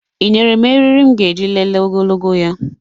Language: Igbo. Ị nyere m eriri m ga-eji lelee ogologo ya?